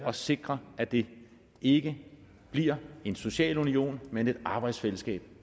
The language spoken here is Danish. og sikre at det ikke bliver en socialunion men et arbejdsfællesskab